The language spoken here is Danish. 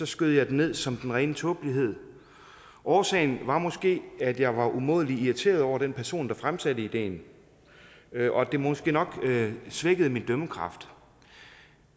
skød jeg den ned som den rene tåbelighed årsagen var måske at jeg var umådelig irriteret over den person der fremsatte ideen og det måske nok svækkede min dømmekraft